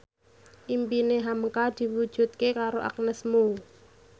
impine hamka diwujudke karo Agnes Mo